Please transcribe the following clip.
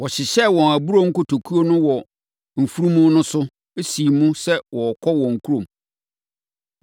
Wɔhyehyɛɛ wɔn aburoo nkotokuo no wɔ mfunumu no so, siim sɛ wɔrekɔ wɔn kurom.